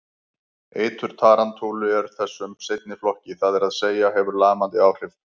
Eitur tarantúla er þessum seinni flokki, það er að segja hefur lamandi áhrif.